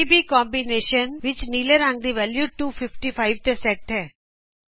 RBG ਦੇ combination ਵਿਚ ਨੀਲੇ ਰੰਗ ਦੀ ਵੈਲੂ 255 ਤੇ ਸੈਟ ਕਿਤੀ ਜਾਂਦੀ ਹੈ